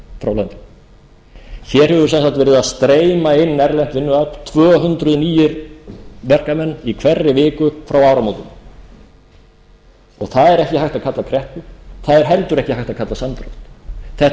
hér hefur sem sagt verið að streyma inn erlent vinnuafl tvö hundruð nýir verkamenn í hverri viku frá áramótum og það er ekki hægt að kalla kreppu það er heldur ekki hægt að kalla samdrátt þetta eru